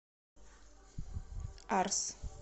арс